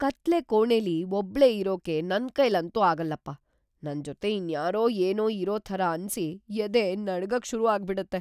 ಕತ್ಲೆ ಕೋಣೆಲಿ ಒಬ್ಳೇ ಇರೋಕೆ ನನ್ಕೈಲಂತೂ ಆಗಲ್ಲಪ್ಪ, ನನ್ಜೊತೆ ಇನ್ಯಾರೋ ಏನೋ ಇರೋ ಥರ ಅನ್ಸಿ ಎದೆ ನಡ್ಗಕ್‌ ಶುರು ಆಗ್ಬಿಡತ್ತೆ.